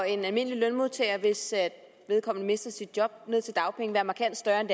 en almindelig lønmodtager hvis vedkommende mister sit job være markant større end